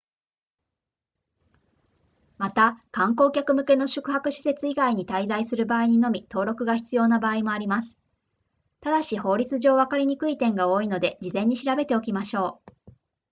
また観光客向けの宿泊施設以外に滞在する場合にのみ登録が必要な場合もありますただし法律上わかりにくい点が多いので事前に調べておきましょう